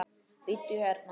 Bíddu hérna.